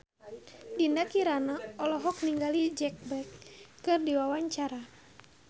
Dinda Kirana olohok ningali Jack Black keur diwawancara